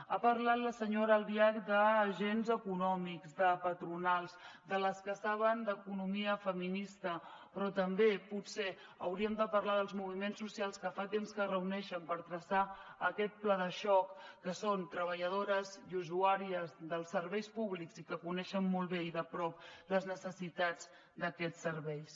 ha parlat la senyora albiach d’agents econòmics de patronals de les que saben d’economia feminista però també potser hauríem de parlar dels moviments socials que fa temps que es reuneixen per traçar aquest pla de xoc que són treballadores i usuàries dels serveis públics i que coneixen molt bé i de prop les necessitats d’aquests serveis